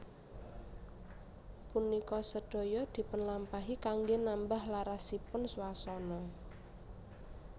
Punika sedaya dipunlampahi kanggé nambah larasipun swasana